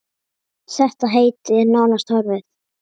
Þetta heiti er nánast horfið.